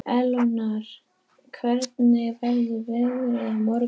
Eleonora, hvernig verður veðrið á morgun?